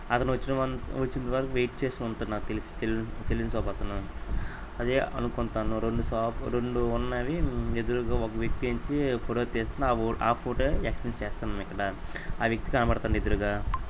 అతను వచ్చిన వన్-- వచ్చేంత వరకు వైట్ చేస్తూ ఉంటారు. నాకు తెలిసి సెలూన్ సెలూన్ షాప్ అతను అదే అనుకుంతాను. రొండు షా రొండు ఉన్నవి. ఉమ్ ఎదురుగా ఒక వ్యక్తి వచ్చి ఫోటో తీస్తున్న ఆ ఊ ఆ ఫోటో ఎక్స్ప్లేన్ చేస్తున్నాం. ఇక్కడ ఆ వ్యక్తి కనపడుతుండు ఎదురుగా--